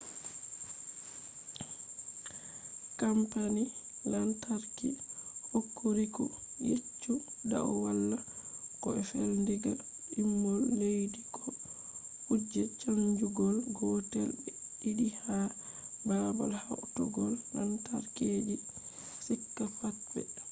kampani lantarki hokuriku yecci dau wala ko fe'i diga dimbol leddi bo kuje chanjugo gotel be ɗiɗi ha babal hautugo lantarki je shika pat ɓe maɓɓi